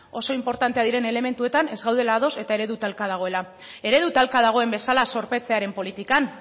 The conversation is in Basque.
oso inportanteak diren elementuetan ez gaudela ados eta eredu talka dagoela eredu talka dagoen bezala zorpetzearen politikan